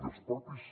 i els propis